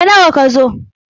Ta nawa ka zo?